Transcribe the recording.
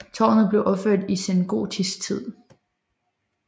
Tårnet blev opført i sengotisk tid